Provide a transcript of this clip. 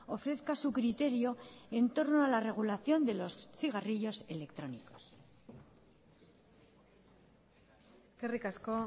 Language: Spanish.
ofrezca su criterio en torno a la regulación de los cigarrillos electrónicos eskerrik asko